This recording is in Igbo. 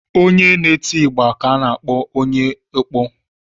Onye na-eti igba ka a na-akpọ onye ọkpọ.